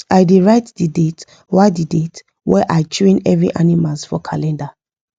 i da write the date wa the date wa i train every animals for calender